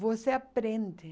Você aprende.